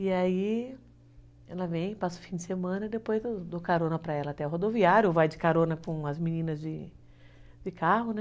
E aí ela vem, passa o fim de semana e depois eu dou carona para ela até o rodoviária, ou vai de carona com as meninas de carro, né?